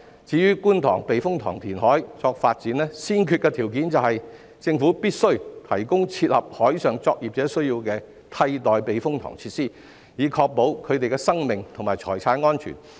至於觀塘避風塘填海作發展，先決條件是政府必須提供切合海上作業者需要的替代避風塘設施，以確保他們的生命和財產安全。